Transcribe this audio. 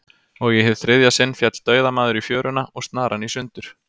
Og í hið þriðja sinn féll dauðamaður í fjöruna, og snaran í sundur.